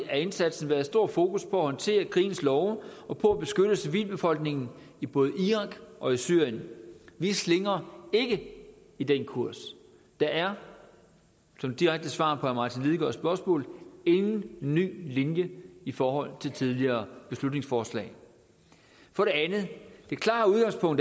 af indsatsen været stor fokus på at håndtere krigens love og på at beskytte civilbefolkningen i både irak og i syrien vi slingrer ikke i den kurs der er som et direkte svar på herre martin lidegaards spørgsmål ingen ny linje i forhold til tidligere beslutningsforslag for det andet det klare udgangspunkt